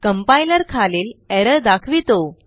Complierखालील error दाखवितो